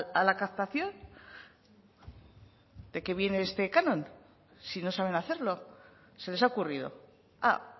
a la captación de qué viene este canon si no saben hacerlo se les ha ocurrido ah